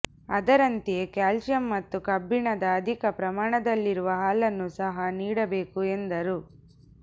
ಅದರಂತೆಯೇ ಕ್ಯಾಲ್ಷಿಯಂ ಮತ್ತು ಕಬ್ಬಿಣದ ಅಧಿಕ ಪ್ರಮಾಣದಲ್ಲಿರುವ ಹಾಲನ್ನು ಸಹಾ ನೀಡಬೇಕು ಎಂದರು